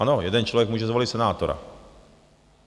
Ano, jeden člověk může zvolit senátora.